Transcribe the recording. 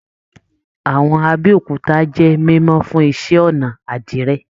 Àwọn Abéòkúta jẹ mímọ fún iṣẹ́-ọnà àdìrẹ́.